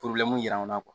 jira anw na